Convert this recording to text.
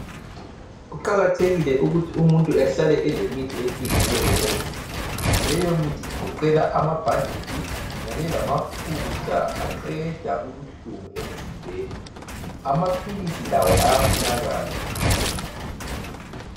Kuqakathekile ukuthi umuntu ahlale elemithi eyehlukeneyo endlini. Leyomithi igoqela amabhanditshi kanye lamafutha aqeda ubuhlungu emzimbeni. Amaphilisi lawo ayafunakala..